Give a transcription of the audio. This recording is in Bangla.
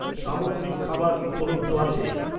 সামুদ্রিক খাবার উপলব্ধ আছে?